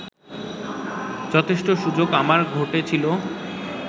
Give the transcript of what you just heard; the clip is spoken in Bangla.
যথেষ্ট সুযোগ আমার ঘটেছিল